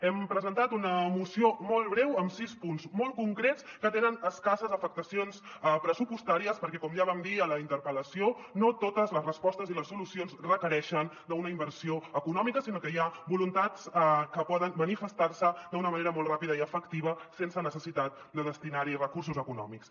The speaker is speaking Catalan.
hem presentat una moció molt breu amb sis punts molt concrets que tenen es·casses afectacions pressupostàries perquè com ja vam dir a la interpel·lació no to·tes les respostes i les solucions requereixen una inversió econòmica sinó que hi ha voluntats que poden manifestar·se d’una manera molt ràpida i efectiva sense neces·sitat de destinar·hi recursos econòmics